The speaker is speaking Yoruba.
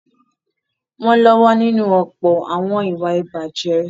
Wọ́n lọ́wọ́ nínú ọ̀pọ̀ àwọn ìwà ìbàjẹ́.